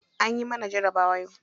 Anyi mana jarabawa yau.